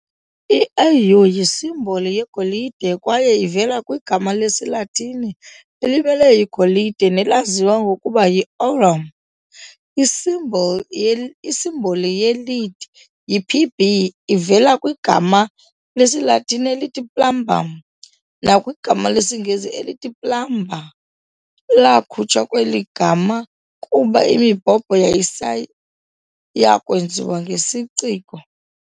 I-'Au' yisimboli yegolide kwaye ivela kwigama lesiLatini elimele igolide nelaziwa ngokuba yi-"aurum". Isimboli isimboli ye-Lead, yi-'Pb', ivela kwigama lesiLatini elithi "plumbum" nakwigama lesiNgesi elithi plumber lakhutshwa kweli gama kuba imibhobho yayisayakwenziwa ngesiciko.